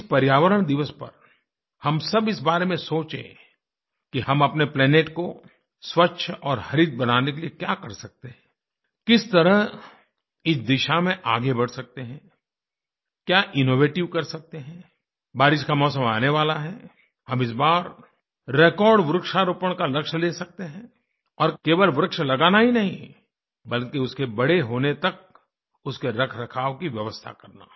इस पर्यावरण दिवस पर हम सब इस बारे में सोचें कि हम अपने प्लैनेट को स्वच्छ और हरित बनाने के लिए क्या कर सकते हैं किस तरह इस दिशा में आगे बढ़ सकते हैं क्या इनोवेटिव कर सकते हैं बारिश का मौसम आने वाला हैहम इस बार रेकॉर्ड वृक्षारोपण का लक्ष्य ले सकते हैं और केवल वृक्ष लगाना ही नहीं बल्कि उसके बड़े होने तक उसके रखरखाव की व्यवस्था करना